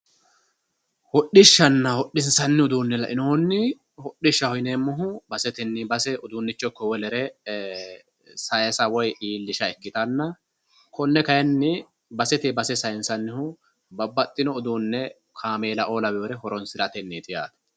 Hodhishshana ,hodhishanni uduune lainohunni hodhishshaho yineemmohu baseteni base udunicho ikko wolere saysa woyi iillisha ikkittanna konne kayinni basete base saysannihu babbaxxino uduune kaameellao lawinore horonsiratenniti yaate.